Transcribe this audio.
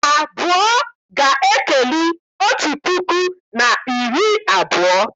Abụọ ga-ekeli otu puku na iri abụọ